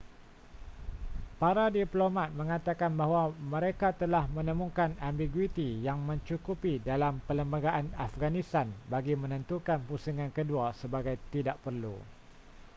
para diplomat mengatakan bahawa mereka telah menemukan ambiguiti yang mencukupi dalam perlembagaan afghanistan bagi menentukan pusingan kedua sebagai tidak perlu